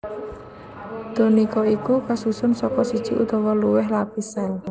Tunika iku kasusun saka siji utawa luwih lapis sél